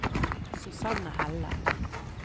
Susanne Helle